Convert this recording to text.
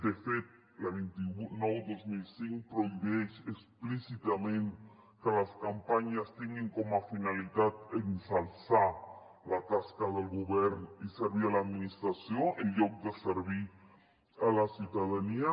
de fet la vint nou dos mil cinc prohibeix explícitament que les campanyes tinguin com a finalitat exalçar la tasca del govern i servir l’administració en lloc de servir la ciutadania